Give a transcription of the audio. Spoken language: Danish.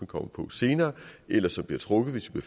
kommer på senere eller som bliver trukket hvis vi